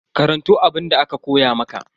Karanto abunda aka koya maka.